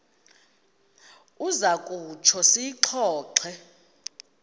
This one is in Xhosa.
uza kutsho siyixoxe